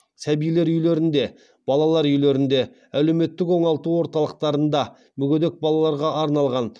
сәбилер үйлерінде балалар үйлерінде әлеуметтік оңалту орталықтарда мүгедек балаларға арналған